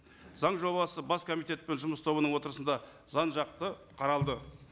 заң жобасы бас комитет пен жұмыс тобының отырысында жан жақты қаралды